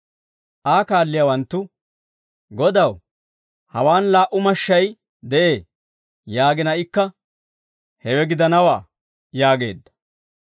Aa kaalliyaawanttu, «Godaw, hawaan laa"u mashshay de'ee» yaagina ikka, «Hewe gidanawaa» yaageedda.